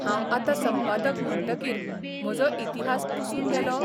हांव आतां संपादक म्हणटकीर म्हजो इतिहास पुसून गेलो?